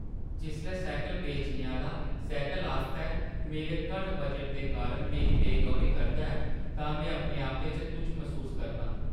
जिसलै सैह्कल बेचने आह्‌ला सैह्कल आस्तै मेरे घट्ट बजट दे कारण मेरी बे-गौरी करदा ऐ तां में अपने आपै च तुच्छ मसूस करनां।